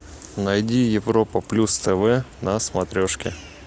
найди европа плюс тв на смотрешке